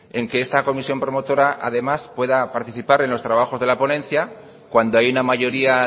en que esta comisión promotora además pueda participar en los trabajos de la ponencia cuando hay una mayoría